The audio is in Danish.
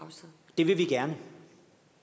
det vil vi gerne